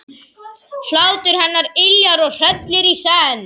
Hlátur hennar yljar og hrellir í senn.